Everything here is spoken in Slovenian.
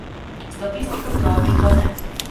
Statistika pravi, da ne.